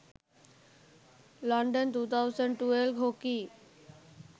london 2012 hockey